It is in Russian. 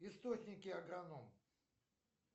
источники агроном